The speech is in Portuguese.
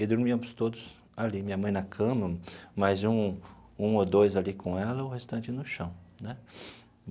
E dormíamos todos ali, minha mãe na cama, mais um um ou dois ali com ela, o restante no chão né.